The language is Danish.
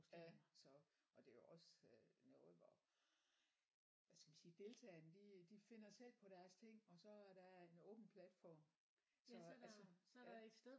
Ja så og det er jo også øh noget hvor hvad skal man sige deltagerne de de finder selv på deres ting og så er der en åben platform så altså ja